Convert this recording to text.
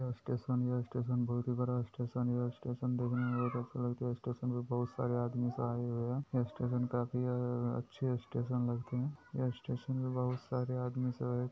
यह स्टेशन है यह स्टेशन बहुत ही बड़ा स्टेशन है यह स्टेशन देखने में बहुत अच्छा लगता है यह स्टेशन पे बहुत सारे आदमी सब आए हुए हैं यह स्टेशन का अच्छा लगते हैं इस स्टेशन पर बहुत सारे आदमी सब है।